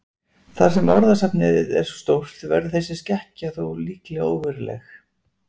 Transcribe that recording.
Þar sem orðasafnið er svo stórt verður þessi skekkja þó líklega óveruleg.